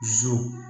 Zu